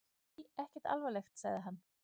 Nei, ekkert alvarlegt, sagði hann.